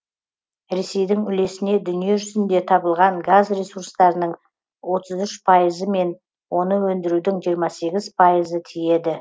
ресейдің үлесіне дүние жүзінде табылған газ ресурстарының отыз үш пайызы мен оны өндірудің жиырма үш пайызы тиеді